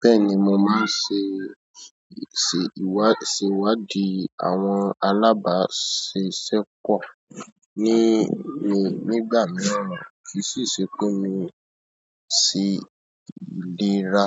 Bẹ́ẹ̀ni, mo máa ń ṣe ìṣèwádìí àwọn alábàáṣiṣẹ́pọ̀ ní ìgbà mìíràn, kì í ṣe pé mo sì lè ra.